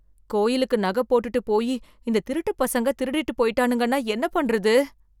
கோயிலுக்கு நக போட்டுட்டு போயி இந்த திருட்டு பசங்க திருடிட்டு போயிட்டானுங்கன்னா என்ன பண்றது?